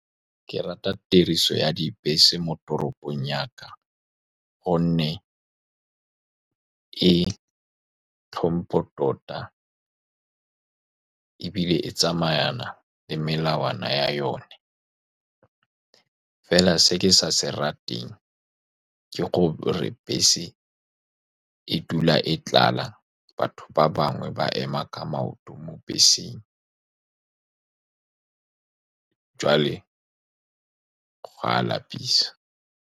Ke rata tiriso ya dibese mo toropong ya ka, ka gonne e tlhompo tota ebile e tsamaya le melawana ya yone, fela se ke sa se rateng ke gore bese e dula e tlala. Batho ba bangwe ba ema ka maoto mo beseng, joale go a lapisa.